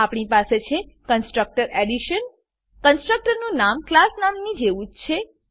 આપણી પાસે છે કન્સ્ટ્રકટર એડિશન કન્સ્ટ્રકટરનું નામ ક્લાસ નામની જેવું જ છે